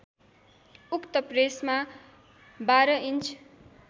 उक्त प्रेसमा १२ इन्च